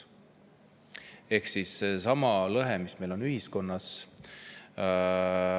See on seesama lõhe, mis meil on ühiskonnas.